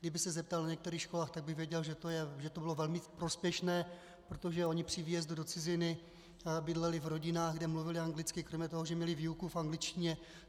Kdyby se zeptal na některých školách, tak by věděl, že to bylo velmi prospěšné, protože oni při výjezdu do ciziny bydleli v rodinách, kde mluvili anglicky, kromě toho, že měli výuku v angličtině.